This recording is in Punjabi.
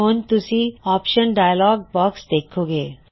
ਹੁਣ ਤੁਸੀਂ ਹੁਣ ਆਪਸ਼ਨ ਡਾਇਲੌਗ ਬਾਕਸ ਦੇਖੋ ਗੇ